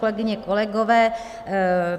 Kolegyně, kolegové,